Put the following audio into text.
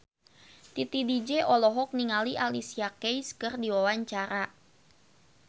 Titi DJ olohok ningali Alicia Keys keur diwawancara